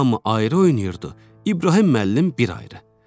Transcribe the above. Hamı ayrı oynayırdı, İbrahim müəllim bir ayrı.